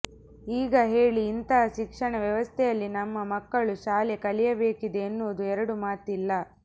ಈಗ ಹೇಳಿ ಇಂತಹ ಶಿಕ್ಷಣ ವ್ಯವಸ್ಥೆಯಲ್ಲಿ ನಮ್ಮ ಮಕ್ಕಳು ಶಾಲೆ ಕಲಿಯಬೇಕಿದೆ ಎನ್ನುವುದು ಎರಡು ಮಾತಿಲ್ಲ